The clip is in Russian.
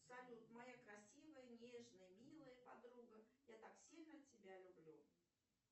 салют моя красивая нежная милая подруга я так сильно тебя люблю